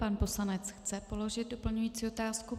Pan poslanec chce položit doplňující otázku.